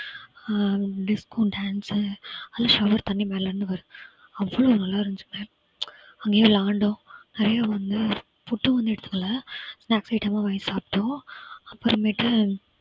அஹ் disco dance உ அதுல shower தண்ணி மேலே இருந்து வரும். அவ்வளவு நல்லா இருந்துச்சு. அங்கையே விளையாண்டோம். நிறைய வந்து food வந்து எடுத்துக்கல snacks item லாம் வாங்கி சாப்பிட்டோம். அப்புறமேட்டு